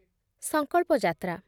ସଂକଳ୍ପ ଯାତ୍ରା